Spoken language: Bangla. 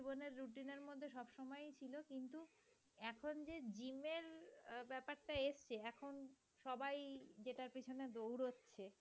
এখন সবাই যেটার পেছনে দৌড়চ্ছে